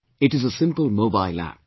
It is a simple mobile App